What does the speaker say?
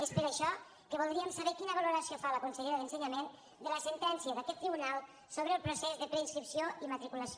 és per això que voldríem saber quina valoració fa la consellera d’ensenyament de la sentència d’aquest tribunal sobre el procés de preinscripció i matriculació